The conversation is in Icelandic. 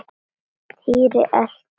Týri elti.